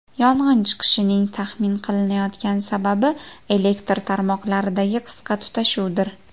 Yong‘in chiqishining taxmin qilinayotgan sababi elektr tarmoqlaridagi qisqa tutashuvdir.